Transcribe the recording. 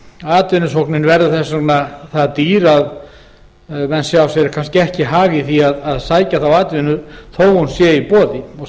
atvinnusóknin verður þess vegna það dýr að menn sjá sér kannski ekki hag í því að sækja þá atvinnu þó hún sé í boði